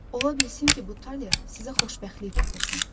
Ola bilsin ki, bu taler sizə xoşbəxtlik gətirsin.